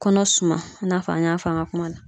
Kɔnɔ suma i na fɔ an y'a fɔ an ka kuma na